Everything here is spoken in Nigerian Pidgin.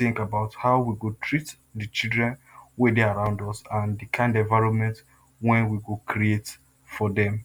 think about how we go treat the children wey dey around us and the kind environment wey we go create for dem.